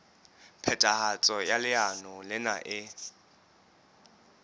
phethahatso ya leano lena e